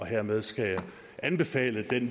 hermed skal jeg anbefale det